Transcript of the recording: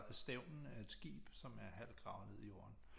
Stævnen af et skib som er halvt gravet ned i jorden